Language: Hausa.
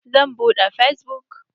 Zan buɗe fesbuk.